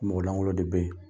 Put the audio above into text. Mɔgɔ langolo de bɛ ye.